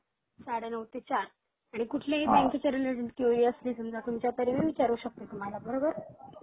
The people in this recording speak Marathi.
साडे नऊ ते चार आणि कुठलीही बँकेच्या रिलेटेड क्युरी असली तुमच्या तर मी विचारू शकते तुम्हाला बरोबर